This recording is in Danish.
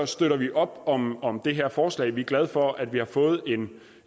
støtter vi op om om det her forslag vi er glade for at vi har fået